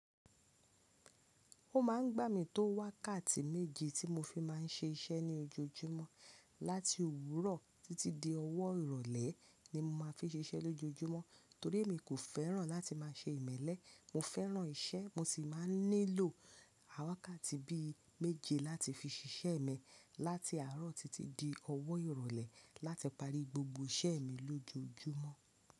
Ó ma ń gbà mí tó wákàtí méje tí mo fi má ń ṣe iṣẹ́ ní ojoojúmọ́. Láti òwúrọ̀ títí di ọwọ́ ìrọ̀lẹ́ ni mo má fi n ṣe iṣẹ́ lójojúmọ́, torí emi kò fẹ́ràn láti má ṣe ìmẹ́lẹ́. Mo fẹ́ràn iṣẹ́, mo sì máa nílò wákàtì bí i méje láti fi ṣe iṣẹ́ mi láti àárọ̀ títí di ọwọ́ ìrọ̀lẹ́ láti parí gbogbo iṣẹ́ mi lójojúmọ́.